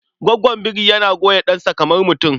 Gwaggon biri yana goya ɗansa kamar mutum.